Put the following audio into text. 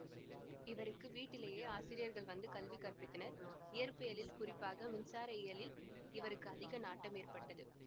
இவருக்கு வீட்டிலேயே ஆசிரியர்கள் வந்து கல்வி கற்பித்தனர் இயற்பியலில் குறிப்பாக மின்சார இயலில் இவருக்கு அதிக நாட்டம் ஏற்பட்டது